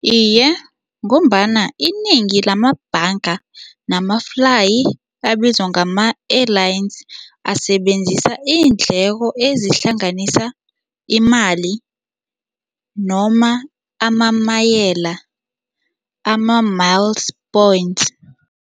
Iye, ngombana inengi lamabhanga namaflayi abizwa ngama-airlines asebenzisa iindleko ezihlanganisa imali noma amamayela ama-miles points.